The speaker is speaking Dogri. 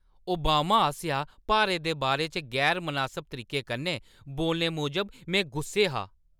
ओबामा आसेआ भारत दे बारे च गैर-मनासब तरीके कन्नै बोलने मूजब में गुस्से हा।